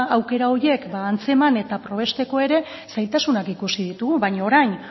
aukera horiek antzeman eta probesteko ere zailtasunak ikusi ditugu baina orain